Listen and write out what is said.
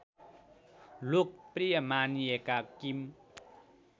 लोकप्रिय मानिएका किम